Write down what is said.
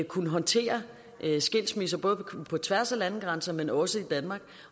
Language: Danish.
kunne håndtere skilsmisser både på tværs af landegrænser men også i danmark